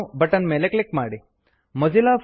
restart now restart now button click ಮಾಡಿ